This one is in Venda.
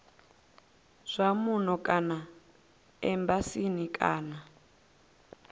zwa muno kana embasini kana